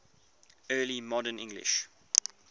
early modern english